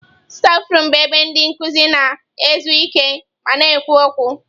Stafurum bụ ebe ndị nkuzi na-ezu ike ma na-ekwu okwu.